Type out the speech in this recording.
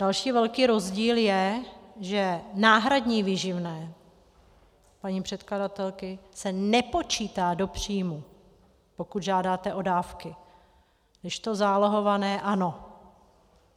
Další velký rozdíl je, že náhradní výživné paní předkladatelky se nepočítá do příjmu, pokud žádáte o dávky, kdežto zálohované ano.